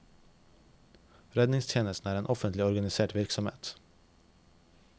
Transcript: Redningstjenesten er en offentlig organisert virksomhet.